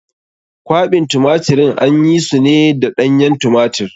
Kwaɓin tumatirin an yi su ne da ɗanyen tumatir.